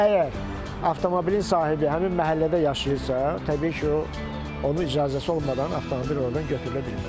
Yox, əgər avtomobilin sahibi həmin məhəllədə yaşayırsa, təbii ki, o, onun icazəsi olmadan avtomobil ordan götürülə bilməz.